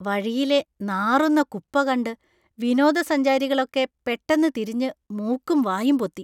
വഴിയിലെ നാറുന്ന കുപ്പ കണ്ട് വിനോദസഞ്ചാരികളൊക്കെ പെട്ടെന്ന് തിരിഞ്ഞ് മൂക്കും വായും പൊത്തി.